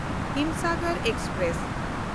Himsagar express